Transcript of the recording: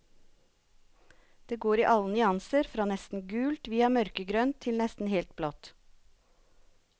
De går i alle nyanser fra nesten gult via mørkegrønt til nesten helt blått.